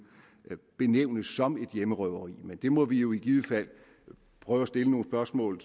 benævnes som et hjemmerøveri men det må vi jo i givet fald prøve at stille nogle spørgsmål